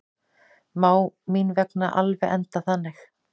Má mín vegna alveg enda þannig.